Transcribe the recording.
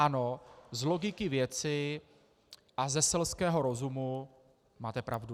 Ano, z logiky věci a ze selského rozumu máte pravdu.